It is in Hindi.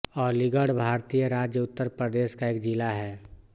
अलीगढ़ भारतीय राज्य उत्तर प्रदेश का एक ज़िला है